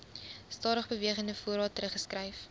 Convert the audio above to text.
stadigbewegende voorraad teruggeskryf